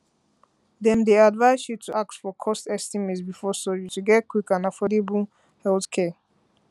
dem dey advise you to ask for cost estimate before surgery to get quick get quick and affordable healthcare